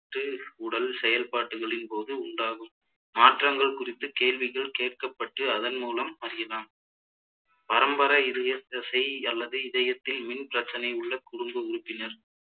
ட்டு உடல் செயற்பாட்டுகளின் போது உண்டாகும் மாற்றங்கள் குறித்து கேள்விகள் கேட்கப்பட்டு அதன்மூலம் அறியலாம் பரம்பரை இதயத்தசை அல்லது இதயத்தில் மின் பிரச்சினை உள்ள குடும்ப உறுப்பினர்